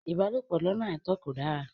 Ìbálòpọ̀ lọ́nà àìtó kò dára.